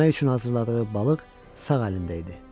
Yemək üçün hazırladığı balıq sağ əlində idi.